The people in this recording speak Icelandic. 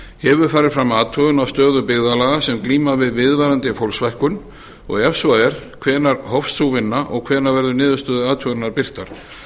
hefur farið fram athugun á stöðu byggðarlaga sem glíma við viðvarandi fólksfækkun ef svo er hvenær hófst sú vinna og hvenær verða niðurstöður athugunarinnar birtar